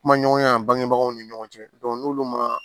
Kuma ɲɔgɔnya bangebagaw ni ɲɔgɔn cɛ n'olu ma